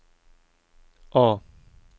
A